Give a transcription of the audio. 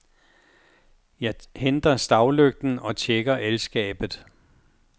Jeg henter stavlygten og tjekker el-skabet.